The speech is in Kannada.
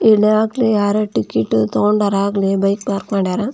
ಇಲ್ಲಿ ಯಾರೋ ಟಿಕೆಟ್ ತೊಗಂಡಾರ ಆಗ್ಲೇ ಬೈಕ್ ಪಾರ್ಕ್ ಮಾಡಾರ .